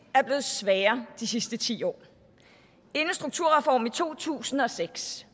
er blevet sværere de sidste ti år inden strukturreformen i to tusind og seks